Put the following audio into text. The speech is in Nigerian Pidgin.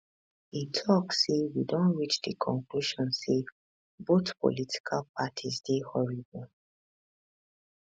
e tok say we don reach di conclusion say both political parties dey horrible